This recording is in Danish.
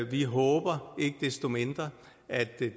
vi håber ikke desto mindre at det